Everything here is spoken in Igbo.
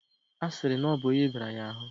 A siri na obu onyi bara ya ahu